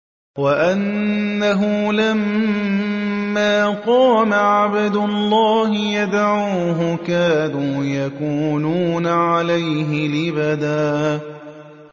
وَأَنَّهُ لَمَّا قَامَ عَبْدُ اللَّهِ يَدْعُوهُ كَادُوا يَكُونُونَ عَلَيْهِ لِبَدًا